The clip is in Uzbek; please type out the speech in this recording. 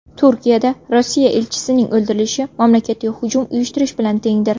Turkiyada Rossiya elchisining o‘ldirilishi mamlakatga hujum uyushtirish bilan tengdir.